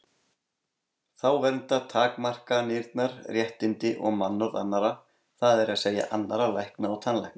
Þá vernda takmarkanirnar réttindi og mannorð annarra, það er að segja annarra lækna og tannlækna.